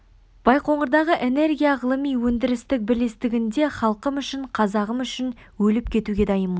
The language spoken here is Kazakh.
байқоңырдағы энергия ғылыми-өндірістік бірлестігінде халқым үшін қазағым үшін өліп кетуге дайынмын